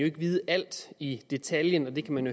ikke vide alt i detaljen og det kan man